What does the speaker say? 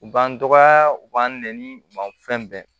U b'an dɔgɔya u b'an nɛni u b'an fɛn bɛɛ